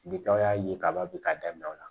Ni tɔw y'a ye kaban bi k'a daminɛ o la